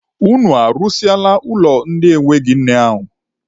Unu arụsịala ụlọ ndị enweghị nne ahụ?